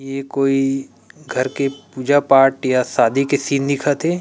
ये कोई घर के पूजा पाठ या शादी के सीन दिख थे।